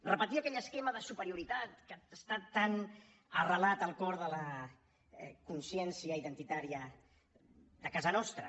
repetia aquell esquema de superioritat que està tan arrelat al cor de la consciència identitària de casa nostra